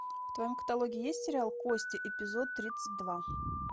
в твоем каталоге есть сериал кости эпизод тридцать два